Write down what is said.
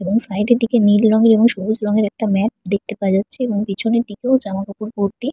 এবং সাইড এর দিকে নীল রঙের এবং সবুজ রঙের একটা ম্যাপ দেখতে পাওয়া যাচ্ছে। এবং পেছনের দিকেও জামা কাপড় ভর্তি।